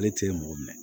Ale tɛ mɔgɔ minɛ